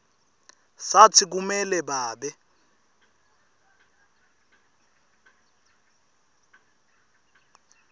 satsi kumele babe